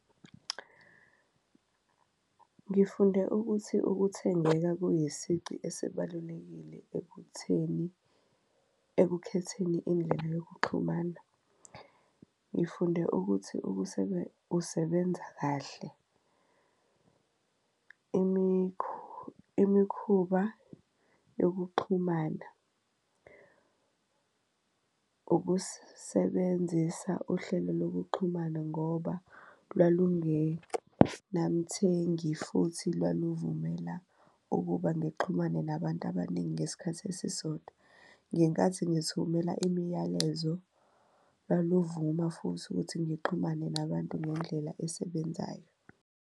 Ngifunde ukuthi ukuthengeka kuyisici esibalulekile ekutheni, ekukhetheni indlela yokuxhumana, ngifunde ukuthi usebenza kahle. Imikhuba yokuxhumana ukusebenzisa uhlelo lokuxhumana ngoba namthengi futhi lwalumela ukuba ngixhumane nabantu abaningi ngesikhathi esisodwa. Ngenkathi ngithumela imiyalezo lwaluvuma futhi ukuthi ngixhumane nabantu ngendlela esebenzayo.